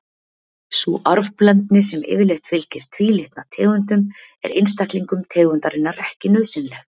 Sú arfblendni sem yfirleitt fylgir tvílitna tegundum er einstaklingum tegundarinnar ekki nauðsynleg.